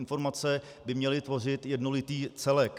Informace by měly tvořit jednolitý celek.